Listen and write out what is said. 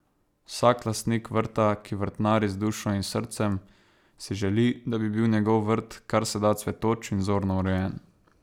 Vsak lastnik vrta, ki vrtnari z dušo in srcem, si želi, da bi bil njegov vrt kar se da cvetoč in vzorno urejen.